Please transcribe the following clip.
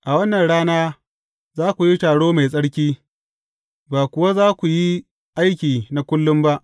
A wannan rana za ku yi taro mai tsarki, ba kuwa za ku yi aiki na kullum ba.